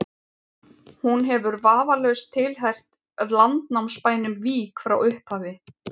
hún hefur vafalaust tilheyrt landnámsbænum vík frá upphafi